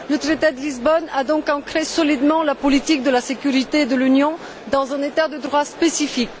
Le traité de Lisbonne a donc ancré solidement la politique de sécurité de l'Union dans un état de droit spécifique.